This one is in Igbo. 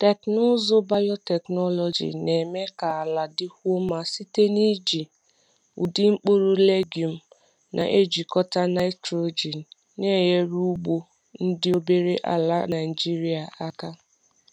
Teknụzụ biotechnology na-eme ka ala dịkwuo mma site n’iji ụdị mkpụrụ legume na-ejikọta nitrogen, na-enyere ugbo ndị obere ala Naijiria aka.